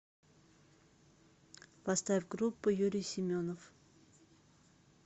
поставь группу юрий семенов